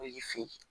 O y'i fin